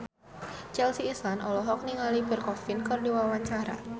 Chelsea Islan olohok ningali Pierre Coffin keur diwawancara